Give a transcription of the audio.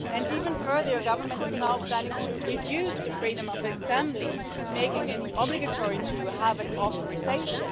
Even further, your government is now planning to reduce the freedom of assembly, making it obligatory to have an authorisation.